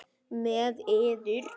Með yður!